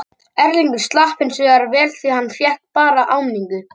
Erlingur slapp hinsvegar vel því hann fékk bara áminningu.